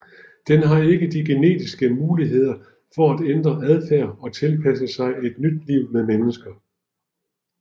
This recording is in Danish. Den har ikke de genetiske muligheder for at ændre adfærd og tilpasse sig et liv med mennesker